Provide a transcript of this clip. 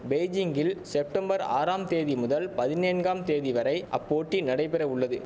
பெய்ஜிங்கில் செப்டம்பர் ஆறாம் தேதி முதல் பதினேன்ங்காம் தேதி வரை அப்போட்டி நடைபெற உள்ளது